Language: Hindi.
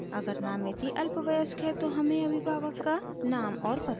अगर नामिती अल्पवयस्क है तो हमें अभिभावक का नाम और पता देना है